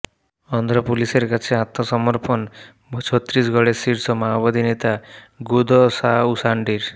অন্ধ্র পুলিসের আছে আত্মসমর্পন ছত্তিসগড়ের শীর্ষ মাওবাদী নেতা গুদসা উসান্ডির